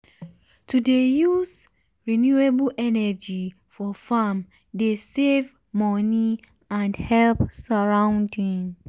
to dey use renewable energy for farm dey save money and help surrounding.